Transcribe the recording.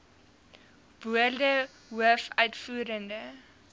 woorde hoof uitvoerende